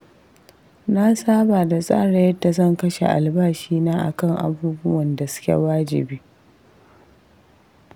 Na saba da tsara yadda zan kashe albashina akan abubuwan da suke wajibi.